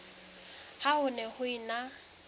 ha ho ne ho ena